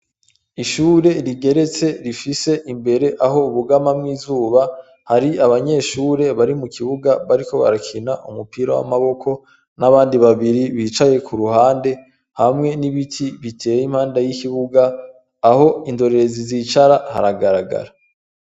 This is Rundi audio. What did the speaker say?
Ishure rigeretse rifise imbere aho bugamamwo izuba, hari abanyeshure bari mu kibuga bariko barakina umupira w'amaboko n'abandi babiri bicaye ku ruhande hamwe n'ibiti biteye impande y'ikibuga, aho indorerezi zicara haragaragara.